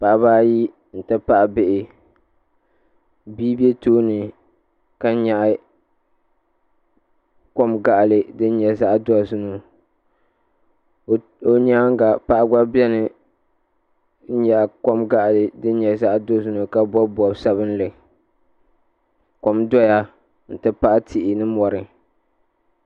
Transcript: Paɣaba ayi n ti pahi bihi bia be tooni ka nyaɣi kom gaɣali din nyɛ zaɣa dozim o nyaanga paɣa gba biɛni n nyaɣi kom gaɣali din nyɛ zaɣa dozim ka bobi bob'sabinli kom doya n ti pahi tihi ni mori.